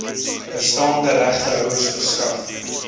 bestaande regtehouers verskaf